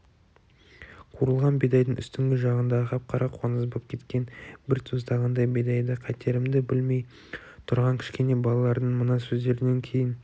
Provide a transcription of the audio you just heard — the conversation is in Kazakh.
қуырылған бидайдың үстіңгі жағындағы қап-қара қоңыз боп кеткен бір тостағандай бидайды қайтерімді білмей тұрғам кішкене балалардың мына сөздерінен кейін